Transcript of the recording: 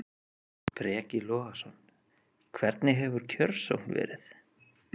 Breki Logason: Hvernig hefur kjörsókn verið?